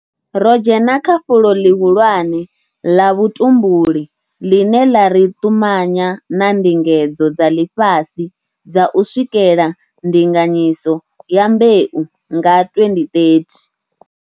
Ro dzhena kha fulo ḽihulwane ḽa vhutumbuli ḽine ḽa ri ṱumanya na ndingedzo dza ḽifhasi dza u swikela ndinganyiso ya mbeu nga 2030.